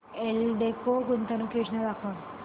एल्डेको गुंतवणूक योजना दाखव